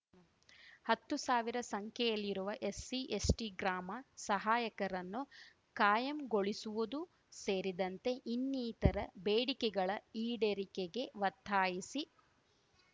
ಹತ್ತು ಸಾವಿರ ಸಂಖ್ಯೆಯಲ್ಲಿರುವ ಎಸ್‌ಸಿ ಎಸ್ಟಿ ಗ್ರಾಮ ಸಹಾಯಕರನ್ನು ಕಾಯಂ ಗೊಳಿಸುವುದು ಸೇರಿದಂತೆ ಇನ್ನಿತರ ಬೇಡಿಕೆಗಳ ಈಡೇರಿಕೆಗೆ ಒತ್ತಾಯಿಸಿ